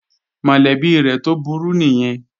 Mọ̀lẹ́bí rẹ̀ tó burú nìyẹn